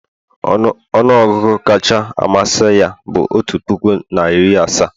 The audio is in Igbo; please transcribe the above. ọnụ ọgụgụ kacha amasị ya bụ otu puku na iri asaa